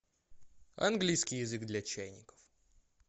английский язык для чайников